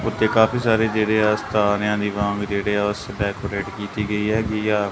ਉੱਥੇ ਕਾਫੀ ਸਾਰੇ ਜੇਹੜੇ ਆਹ ਸਥਾਨ ਯਾ ਦਿਵਾਂਗ ਜੇਹੜੇ ਆ ਸੀ ਡੇਕੋਰੇਟ ਕੀਤੀ ਗਈ ਹੈਗੀ ਆ।